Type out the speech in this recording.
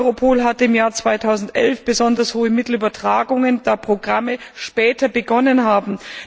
EUROPOL hatte im Jahr 2011 besonders hohe Mittelübertragungen, da Programme später begonnen haben.